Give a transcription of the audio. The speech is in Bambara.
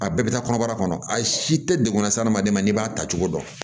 A bɛɛ bɛ taa kɔnɔbara kɔnɔ a si tɛ degun na se adamaden ma n'i b'a ta cogo dɔn